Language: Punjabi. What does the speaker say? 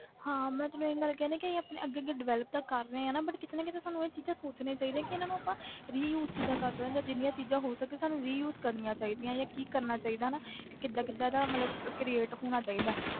ਹਾਂ ਮੈਂ ਤੈਨੂੰ ਇਹੀ ਗੱਲ ਕਹੀ ਨਾ ਕਿ ਆਪਣੇ ਅੱਗੇ ਅੱਗੇ develop ਤਾਂ ਕਰ ਰਹੇ ਆ ਨਾ but ਕਿਤੇ ਨਾ ਕਿਤੇ ਸਾਨੂੰ ਇਹ ਚੀਜ਼ਾਂ ਸੋਚਣੀਆਂ ਚਾਹੀਦੀਆਂ ਕਿ ਇਹਨਾਂ ਨੂੰ ਆਪਾਂ reuse ਕਿੱਦਾਂ ਕਰ ਸਕਦੇ ਹਾਂ ਜਾਂ ਜਿੰਨੀਆਂ ਚੀਜ਼ਾਂ ਹੋ ਸਕੇ ਸਾਨੂੰ reuse ਕਰਨੀਆਂ ਚਾਹੀਦੀਆਂ ਜਾਂ ਕੀ ਕਰਨਾ ਚਾਹੀਦਾ ਨਾ ਕਿ ਕਿੱਦਾਂ ਕਿੱਦਾਂ ਇਹਦਾ ਮਤਲਬ create ਹੋਣਾ ਚਾਹੀਦਾ ਹੈ,